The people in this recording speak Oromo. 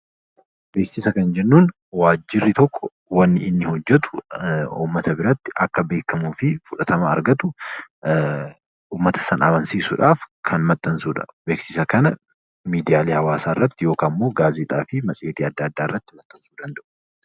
Beeksisa kan jennu waajjirri tokko wanni inni hojjetu ummata biratti akka beekamuu fi fudhatama argatu ummata sana amansiisuudhaaf kan maxxansuu dha. Beeksisa kana miidiyaalee hawaasaa irratti yookaan immoo gaazexaa fi matseetii adda addaa irratti maxxansuu danda'u.